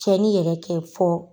Tiɲɛni yɛrɛ tɛ fɔ.